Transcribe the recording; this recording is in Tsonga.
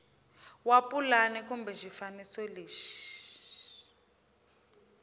wa pulani kumbe xifaniso lexi